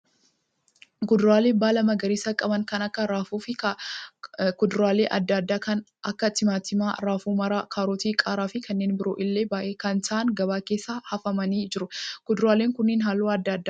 Kuduraalee baala magariisa qaban kan akka raafuu fi kuduraalee adda addaa kan akka timaatimaa, raafuu maraa, kaarotii, qaaraa fi kanneen biroon illee baay'ee kan ta'aan gabaa keessa hafamanii jiru. Kuduraaleen kun halluu adda addaa qabu.